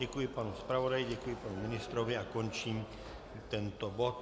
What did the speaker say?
Děkuji panu zpravodaji, děkuji panu ministrovi a končím tento bod.